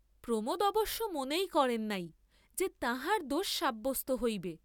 প্রমোদ অবশ্য মনেই করেন নাই যে তাঁহার দোষ সাব্যস্ত হইবে।